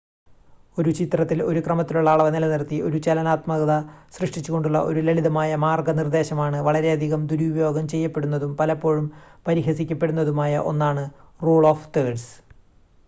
ഒരു ചിത്രത്തിൽ ഒരു ക്രമത്തിലുള്ള അളവ് നിലനിർത്തി ഒരു ചലനാത്മകത സൃഷ്‌ടിച്ചുകൊണ്ടുള്ള ഒരു ലളിതമായ മാർഗനിർദ്ദേശമാണ് വളരെയധികം ദുരുപയോഗം ചെയ്യപ്പെടുന്നതും പലപ്പോഴും പരിഹസിക്കപ്പെടുന്നതുമായ ഒന്നാണ് റൂൾ ഓഫ് തേർഡ്‌സ്